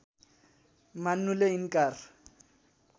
मान्नुले इन्कार